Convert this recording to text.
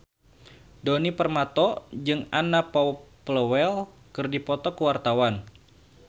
Djoni Permato jeung Anna Popplewell keur dipoto ku wartawan